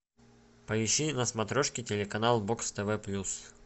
поищи на смотрешке телеканал бокс тв плюс